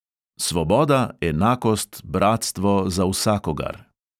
Svoboda, enakost, bratstvo za vsakogar!